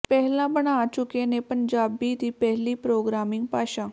ਪਹਿਲਾਂ ਬਣਾ ਚੁੱਕੇ ਨੇ ਪੰਜਾਬੀ ਦੀ ਪਹਿਲੀ ਪ੍ਰੋਗਰਾਮਿੰਗ ਭਾਸ਼ਾ